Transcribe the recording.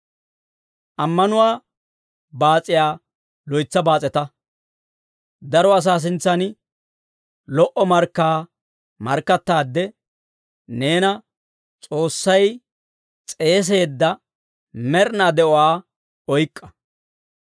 Ammanuwaa baas'iyaa loytsa baas'eta. Daro asaa sintsan lo"o markkaa markkattaade, neena S'oossay s'eeseedda med'inaa de'uwaa oyk'k'a.